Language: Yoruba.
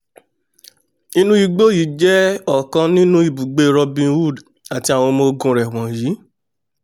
inú igbó yìí jẹ́ ọ̀kan nínú ibùgbé robin hood àti àwọn ọmọ ogun rẹ̀ wọ̀nyí